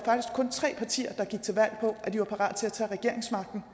tre partier der gik til valg på at de var parat til at tage regeringsmagten